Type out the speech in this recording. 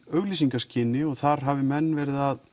auglýsingaskyni og þar hafi menn verið að